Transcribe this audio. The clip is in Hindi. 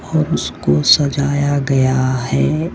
और उसको सजाया गया है।